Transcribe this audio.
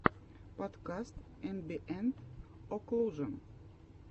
подкаст эмбиэнт оклужен